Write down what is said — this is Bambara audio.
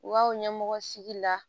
U ka o ɲɛmɔgɔ sigi la